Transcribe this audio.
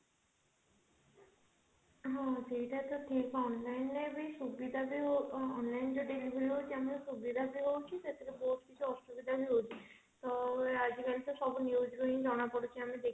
ହଁ ସେଇଟା ତ ଠିକ online ବି ତ ସୁବିଧା onlineରେ delivery ହଉଛି ଆମର ସୁବିଧା ବି ହଉଛି ସେଥିରେ ବହୁତ କିଛି ଅସୁବିଧା ବି ହଉଛି ତ ଆଜିକାଲି ତ ସବୁ news ରୁ ଜଣା ପଡୁଛି ଆମେ ଦେଖି